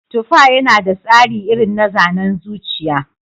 Tufa yana da tsari irin na zanen zuciya.